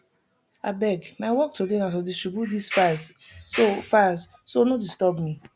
abeg my work today na to distribute dis files so files so no disturb me